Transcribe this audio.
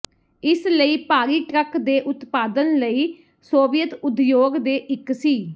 ਇਸ ਲਈ ਭਾਰੀ ਟਰੱਕ ਦੇ ਉਤਪਾਦਨ ਲਈ ਸੋਵੀਅਤ ਉਦਯੋਗ ਦੇ ਇੱਕ ਸੀ